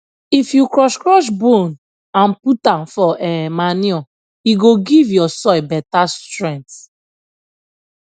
if you crush crush bone and put am for um manure e go give your soil better strength